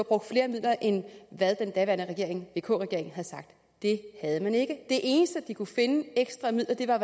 brugt flere midler end hvad den daværende vk regering havde sagt det havde den ikke de eneste ekstra midler